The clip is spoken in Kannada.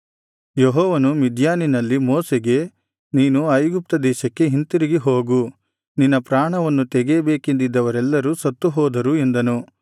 ಯೆಹೋವನು ಮಿದ್ಯಾನಿನಲ್ಲಿ ಮೋಶೆಗೆ ನೀನು ಐಗುಪ್ತ ದೇಶಕ್ಕೆ ಹಿಂತಿರುಗಿ ಹೋಗು ನಿನ್ನ ಪ್ರಾಣವನ್ನು ತೆಗೆಯಬೇಕೆಂದಿದ್ದವರೆಲ್ಲರೂ ಸತ್ತು ಹೋದರು ಎಂದನು